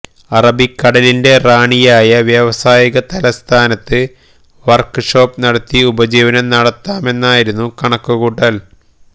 അറബിക്കടലിന്റെ റാണിയായ വ്യാവസായിക തലസ്ഥാനത്ത് വർക്ക് ഷോപ്പ് നടത്തി ഉപജീവനം നടത്താമെന്നായിരുന്നു കണക്കു കൂട്ടൽ